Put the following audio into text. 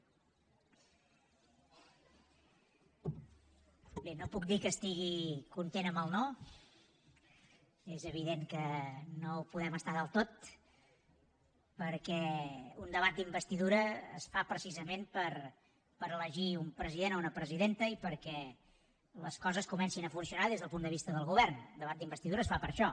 bé no puc dir que estigui content amb el no és evident que no ho podem estar del tot perquè un debat d’investidura es fa precisament per elegir un president o una presidenta i perquè les coses comencin a funcionar des del punt de vista del govern el debat d’investidura es fa per això